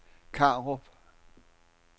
Karup